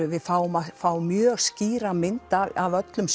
við fáum að fá mjög skýra mynd af öllum